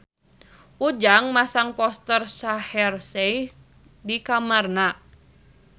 Ujang masang poster Shaheer Sheikh di kamarna